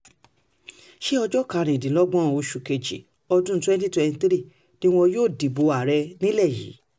ṣé ọjọ́ karùndínlọ́gbọ̀n oṣù kejì ọdún twenty twenty-three ni wọn yóò dìbò ààrẹ nílẹ̀ yìí